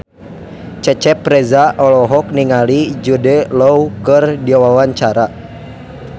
Cecep Reza olohok ningali Jude Law keur diwawancara